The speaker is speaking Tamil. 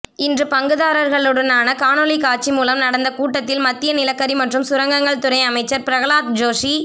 இன்று பங்குதாரர்களுடனான காணொளி காட்சி மூலம் நடந்த கூட்டத்தில் மத்திய நிலக்கரி மற்றும் சுரங்கங்கள் துறை அமைச்சர் பிரகலாத் ஜோஷி